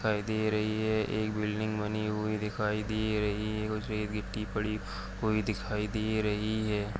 दिखाई दे रही हैं एक बिल्डिंग बनी हुई दिखाई दे रही हैं उसपे एक गीट्टी पड़ी हुई दिखाई दे रही हैं।